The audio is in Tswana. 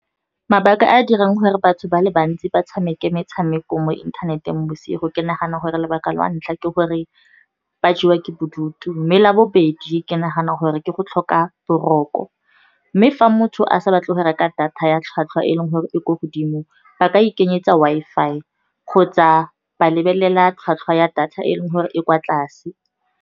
Mabaka a a dirang gore batho ba le bantsi ba tshameke metshameko mo inthaneteng bosigo, ke nagana gore lebaka la ntlha ke gore ba jewa ke bodutu. Mme labobedi ke naganang gore ke go tlhoka boroko, mme fa motho a sa batle go reka data ya tlhwatlhwa e e leng gore e ko godimo, ba ka ikenyetsa Wi-Fi kgotsa ba lebelela tlhwatlhwa ya data e leng gore e kwa tlase.